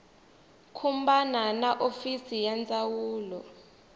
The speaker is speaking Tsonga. khumbana na hofisi ya ndzawulo